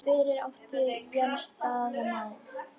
Fyrir átti Jens Daða Má.